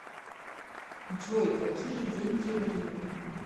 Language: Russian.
джой какие деньги в риме